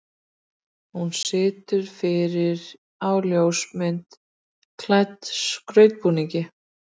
Hún situr fyrir á ljósmynd klædd skautbúningi.